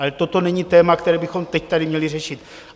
Ale toto není téma, které bychom teď tady měli řešit.